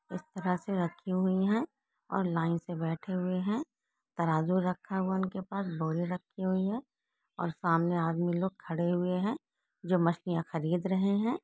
इस तरह से रखी हुई है और लाइन से बैठे हुए है तराजू रखा हुआ उनके पास बोरी रखी हुई है और सामने आदमी लोग खड़े हुए है जो मछलियां खरीद रहे है।